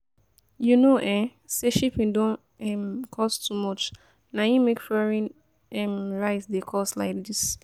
You know um say shipping don um cost too much, na im make foreign um rice dey cost like this